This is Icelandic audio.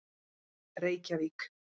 Reykjavík